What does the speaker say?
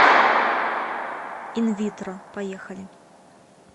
инвитро поехали